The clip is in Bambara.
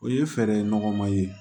O ye fɛɛrɛ nɔgɔma ye